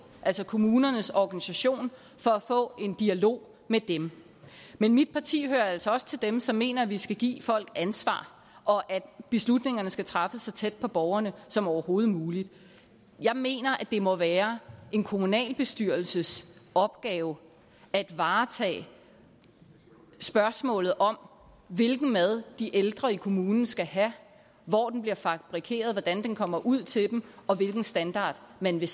altså kommunernes organisation for at få en dialog med dem men mit parti hører altså også til dem som mener at vi skal give folk ansvar og at beslutningerne skal træffes så tæt på borgerne som overhovedet muligt jeg mener at det må være en kommunalbestyrelses opgave at varetage spørgsmålet om hvilken mad de ældre i kommunen skal have hvor den bliver fabrikeret hvordan den kommer ud til dem og hvilken standard man vil